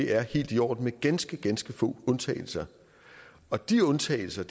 er helt i orden med ganske ganske få undtagelser og de undtagelser